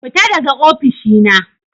Fita daga ofishi na.